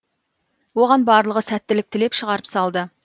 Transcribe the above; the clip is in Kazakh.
оған барлығы сәттілік тілеп шығарып салды